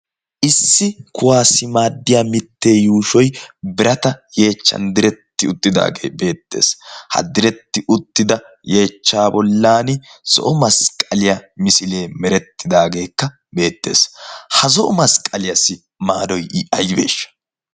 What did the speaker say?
issi kuwaassi maaddiya mittee yuushoi birata yeechchan diretti uttidaagee beettees. ha diretti uttida yeechcha bollan zo7o masqqaliyaa misilee merettidaageekka beettees. ha zo7o masqqaliyaassi maaroi i aibeeshsha?